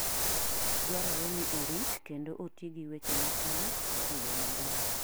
Dwarore ni orit kendo oti gi weche maokan e yo maber.